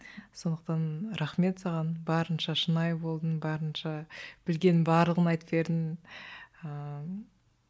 сондықтан рахмет саған барынша шынайы болдың барынша білгеннің барлығын айтып бердің ыыы